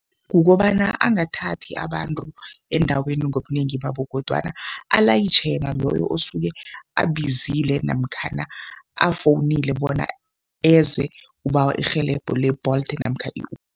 Kukobana angathathi abantu endaweni ngobunengi babo kodwana alayitjhe yena loyo abizile namkhana afowunile bona eze, ubawa irhelebho le-Bolt namkha